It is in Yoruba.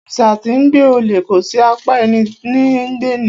Òrìsà tí 'ńgbe ọle kòsí; apá ẹní ní ńgbe ni.